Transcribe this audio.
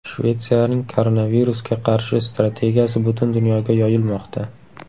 Shvetsiyaning koronavirusga qarshi strategiyasi butun dunyoga yoyilmoqda.